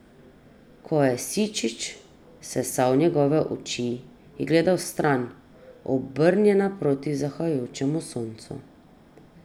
Ko je Sičič sesal njegove oči, je gledala stran, obrnjena proti zahajajočemu soncu.